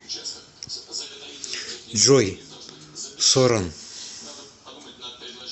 джой соран